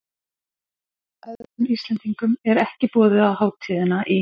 Öðrum Íslendingum er ekki boðið á hátíðina í